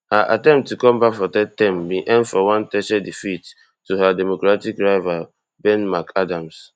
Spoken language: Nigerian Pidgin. her attempt to come back for third term bin end for one techere defeat to her democratic rival ben mcadams